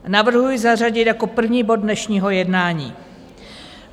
Navrhuji zařadit jako první bod dnešního jednání.